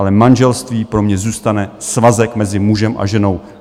Ale manželství pro mě zůstane svazek mezi mužem a ženou.